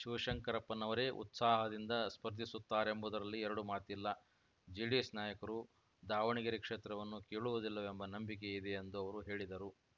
ಶಿವಶಂಕರಪ್ಪನವರೇ ಉತ್ಸಾಹದಿಂದ ಸ್ಪರ್ಧಿಸುತ್ತಾರೆಂಬುದರಲ್ಲಿ ಎರಡು ಮಾತಿಲ್ಲ ಜೆಡಿಎಸ್‌ ನಾಯಕರು ದಾವಣಗೆರೆ ಕ್ಷೇತ್ರವನ್ನು ಕೇಳುವುದಿಲ್ಲವೆಂಬ ನಂಬಿಕೆ ಇದೆ ಎಂದು ಅವರು ಹೇಳಿದರು